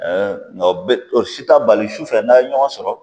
nka o bɛ o si ta bali su fɛ n'a ye ɲɔgɔn sɔrɔ